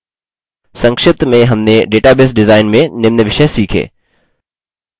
संक्षिप्त में हमने database डिजाइन में निम्न विषय सीखें: